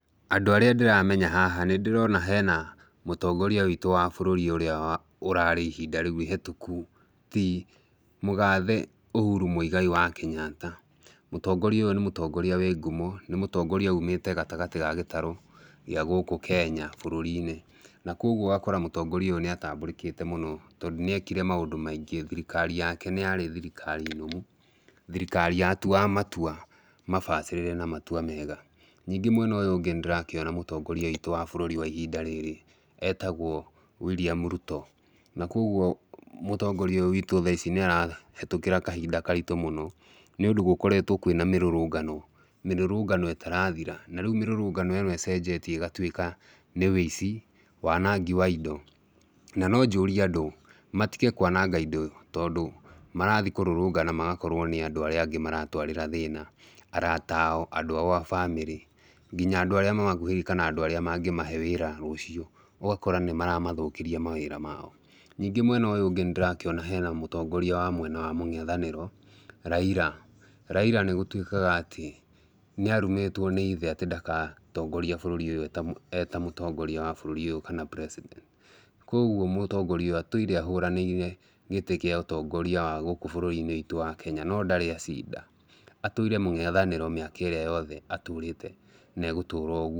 Andũ arĩa ndĩramenya haha nĩndĩrona hena mũtongoria witũ wa bũrũri ũrĩa ũrarĩ ihinda rĩu ihetũku ti mũgathe Uhuru Mũigai wa Kenyatta. Mũtongoria ũyũ nĩ mũndũ wĩ ngumo nĩ mũtongoria umĩte gatagatĩ ga gĩtarũ gĩa gũkũ Kenya bũrũri-inĩ. Na koguo ũgakora mũtongoria ũyũ nĩ atambũrĩkĩte mũno tondũ nĩekire maũndũ maingĩ. Thirikari yake nĩ yarĩ thirikari nũmu, thirikari yatuaga matua mabacĩrĩre na matua mega. Ningĩ mwena ũyũ ũngĩ nĩndĩrakĩona mũtongoria witũ wa bũrũri wa ihinda rĩrĩ etagwo William Ruto. Na koguo mũtongoria ũyũ witũ tha ici nĩarahĩtũkĩra kahinda karitũ mũno nĩũndũ gũkoretwo kũrĩ na mĩrũrũngano. Mĩrũrũngano ĩtarathira na rĩu mĩrũrũngano ĩno ĩcenjetie ĩgatuĩka nĩ wũici, wanangi wa indo na no njũrie andũ matige kwananga indo tondũ marathiĩ kũrũrũngana magakorwo nĩ andũ arĩa angĩ maratwarĩra thĩna, arata ao andũ a bamĩrĩ nginya andũ arĩa mamakuhĩrĩirie kana andũ aria mangĩmahe wĩra ta ũcio ũgakora nĩmaramathũkĩria wĩra mao. Ningĩ mwena ũyũ ũngĩ nĩndĩrakĩona hena mũtongoria wa mwena wa mũng'ethanĩro Raila. Raila nĩgũtuĩkaga atĩ nĩarumitwo nĩ ithe atĩ ndagatongoria bũrũri ũyũ eta mũtongoria wa bũrũri ũyũ kana ta president. Koguo mũtongoria ũyũ atũire ahũranĩire gĩturua kĩa mũtongoria wa gũkũ bũrũri witũ wa Kenya no ndarĩ acinda. Atũire mũng'etanĩro mĩaka ĩrĩa yothe atũrĩte na agũtũra ũguo.